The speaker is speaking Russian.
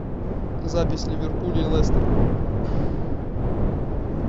запись ливерпуль и лестер